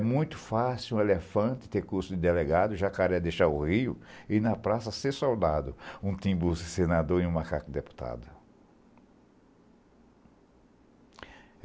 É muito fácil um elefante ter curso de delegado, jacaré deixar o rio e ir na praça ser soldado, um timbu senador e um macaco deputado.